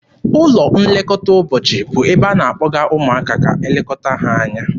Ụlọ nlekọta ụbọchị bụ ebe a na-akpọga ụmụaka ka e lekọta ha anya.